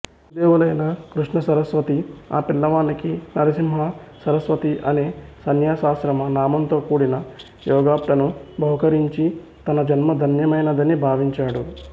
గురుదేవులైన కృష్ణసరస్వతి ఆ పిల్లవానికి నరసిం హ సరస్వతిఅనే సన్యాసాశ్రమ నామంతోకూడిన యోగ ప్ట్టాను బహూకరించి తనజన్మధన్యమైనదని భావించాడు